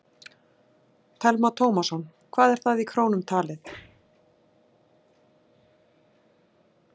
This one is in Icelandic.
Telma Tómasson: Hvað er það í krónum talið?